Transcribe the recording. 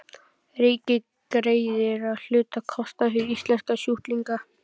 Ríkið greiðir að hluta kostnað fyrir íslenska sjúklinga.